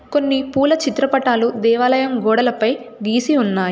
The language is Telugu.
కొన్ని పూల చిత్రపటాలు దేవాలయం గోడలపై గీసి ఉన్నాయ్.